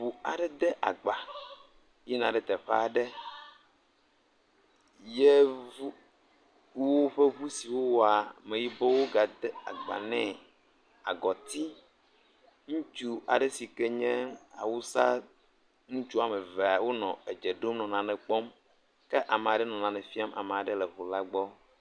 Ŋu aɖe de agba yina ɖe teƒe aɖe Yeevu woƒe ŋu si wowaa, Ameyibɔwo gade agba nɛ. Agɔti, ŋutsu aɖe si ke nye Awusa ŋutsu woame vea, wonɔ edze ɖom nɔ nane kpɔm. Ke ame aɖe nɔ nane fiam amea aɖe le ŋula gbɔ.